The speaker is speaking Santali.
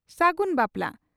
ᱥᱟᱹᱜᱩᱱ ᱵᱟᱯᱞᱟ